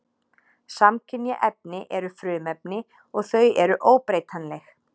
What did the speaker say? Samkynja efni eru frumefni og þau eru óbreytanleg.